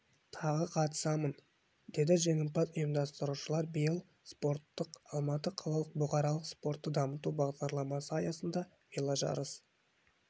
тағы қатысамын деді жеңімпаз ұйымдастырушылар биыл спорттық алматы қалалық бұқаралық спортты дамыту бағдарламасы аясында веложарыс